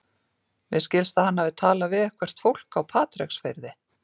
Mér skilst að hann hafi talað við eitthvert fólk á Patreksfirði.